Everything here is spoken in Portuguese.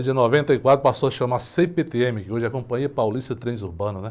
Depois de noventa e quatro, passou a se chamar cê-pê-tê-eme, que hoje é a Companhia Paulista de Trens Urbanos, né?